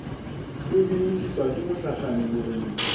e bmosiuwa ke mohlahlami boreneng